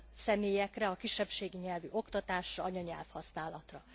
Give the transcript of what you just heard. személyekre, a kisebbségi nyelvű oktatásra, anyanyelvhasználatra.